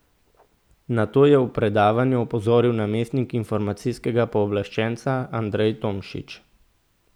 Na to je v predavanju opozoril namestnik informacijskega pooblaščenca Andrej Tomšič.